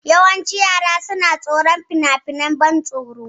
Yawancin yara suna tsoron finafinan ban tsoro.